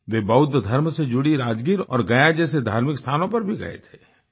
वे बौद्ध धर्म से जुड़ी राजगीर और गया जैसे धार्मिक स्थानों पर भी गए थे